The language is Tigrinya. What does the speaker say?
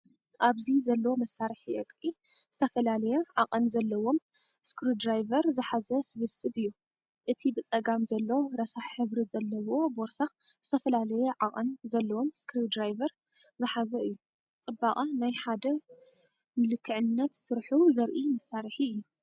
ኣብዚ ዘሎ መሳርሒ ዕጥቂ ዝተፈላለየ ዓቐን ዘለዎም ስክሩድራይቨር ዝሓዘ ስብስብ እዩ። እቲ ብጸጋም ዘሎ ረሳሕ ሕብሪ ዘለዎ ቦርሳ ዝተፈላለየ ዓቐን ዘለዎም ስክሪውድራይቨር ዝሓዘ እዩ። ጽባቐ ናይ ሓደ ንልክዕነት ስርሑ ዘርኢ መሳርሒ እዩ።